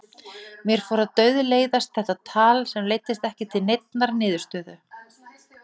Mér fór að dauðleiðast þetta tal sem leiddi ekki til neinnar niðurstöðu.